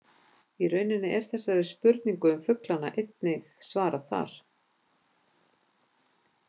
Í rauninni er þessari spurningu um fuglana einnig svarað þar.